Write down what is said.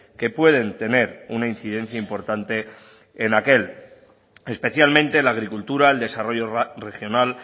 que pueden tener una incidencia importante en aquel especialmente la agricultura el desarrollo regional